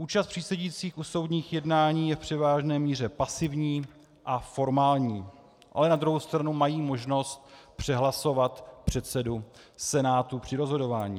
Účast přísedících u soudních jednání je v převážné míře pasivní a formální, ale na druhou stranu mají možnost přehlasovat předsedu senátu při rozhodování.